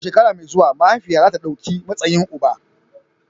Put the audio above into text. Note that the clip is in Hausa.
A shekara mai zuwa, mahaifiyar za ta ɗauki matsayin uba.